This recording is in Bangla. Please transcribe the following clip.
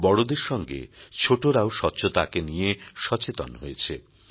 বড়দের সঙ্গে ছোটরাও স্বচ্ছতাকে নিয়ে সচেতন হয়েছে